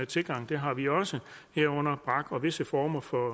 tilgang det har vi jo også herunder brak og visse former for